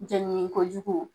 Jɛ ɲini ko jugu